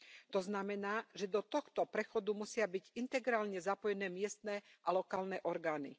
To znamená, že do tohto prechodu musia byť integrálne zapojené miestne a lokálne orgány.